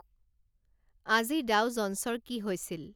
আজি ডাও জ'ন্‌ছৰ কি হৈছিল